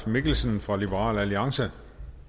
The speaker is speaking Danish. mikkelsen fra liberal alliance